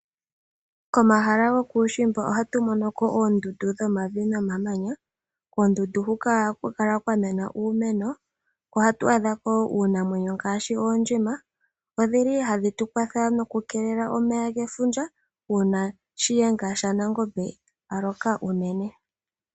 Kommahala gokuushimba ohatu monoko oondundu dhomavi nomamanya. Koondundu hoka ohaku kala kwa mena uumeno. Oha tu adhako uunamwenyo ngaashi oondjima. Odhili hadhi tu kwatha noku keelela omeya gefundja una shiyenga shaNangombe a loka unene.